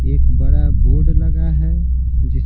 एक बड़ा बोर्ड लगा है जिस --